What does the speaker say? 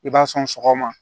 I b'a sɔn sɔgɔma